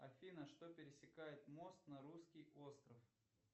афина что пересекает мост на русский остров